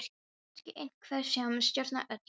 Hér er kannski einhver sem stjórnar öllu.